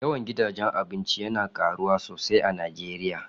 Yawan gidaje Abinci yana karuwa sosai a Nijeriya